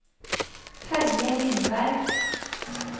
Terje Lindberg